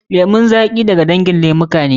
Lemun zaƙi da ga dangin lemuka ne.